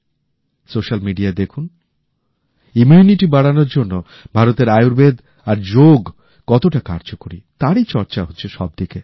social মিডিয়ায় দেখুন immunity বাড়ানোর জন্য ভারতের আয়ুর্বেদ আর যোগ কতটা কার্যকরী তারই চর্চা হচ্ছে সবদিকে